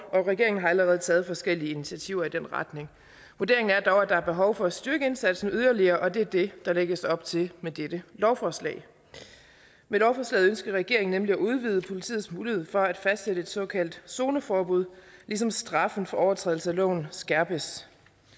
og regeringen har allerede taget forskellige initiativer i den retning vurderingen er dog at der er behov for at styrke indsatsen yderligere og det er det der lægges op til med dette lovforslag med lovforslaget ønsker regeringen nemlig at udvide politiets mulighed for at fastsætte et såkaldt zoneforbud ligesom straffen for overtrædelse af loven skærpes